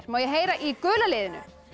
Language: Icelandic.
má ég heyra í gula liðinu